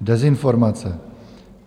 dezinformace.